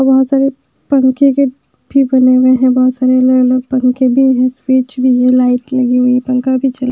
बहुत सारे पंखे के भी बने हुए हैं बहुत सारे अलग-अलग पंखे भी हैं स्विच भी है लाइट लगी हुई है पंखा भी चल--